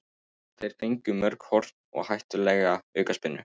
Þeir fengu mörg horn og hættulegar aukaspyrnur.